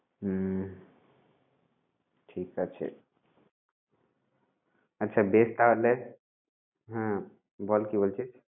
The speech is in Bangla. হুম ঠিক আছে আচ্ছা বেশ তাহলে, হ্যাঁ বল কি বলছিস?